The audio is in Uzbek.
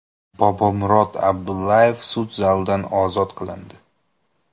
Bobomurod Abdullayev sud zalidan ozod qilindi.